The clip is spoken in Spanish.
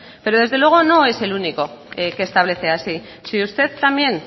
pero desde luego no es el único que establece así si usted también